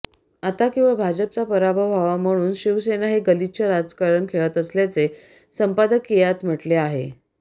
आता केवळ भाजपचा पराभव व्हावा म्हणून शिवसेना हे गलिच्छ राजकारण खेळत असल्याचे संपादकीयात म्हटले आहे